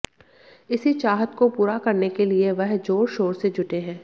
इसी चाहत को पूरा करने के लिए वह जोर शोर से जुटे हैं